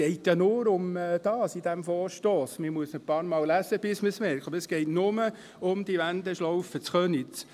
Man muss ihn ein paarmal lesen, bis man es realisiert, aber es geht nur um die Wendeschlaufe in Köniz.